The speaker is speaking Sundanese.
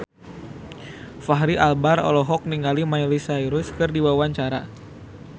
Fachri Albar olohok ningali Miley Cyrus keur diwawancara